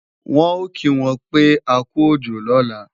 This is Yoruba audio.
Wọ́n ò kí wọn pé akú òjò lọ́la